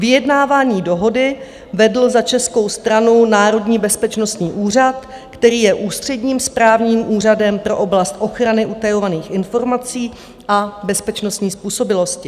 Vyjednávání dohody vedl za českou stranu Národní bezpečnostní úřad, který je ústředním správním úřadem pro oblast ochrany utajovaných informací a bezpečnostní způsobilosti.